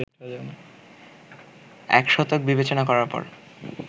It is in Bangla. এক শতক বিবেচনা করার পর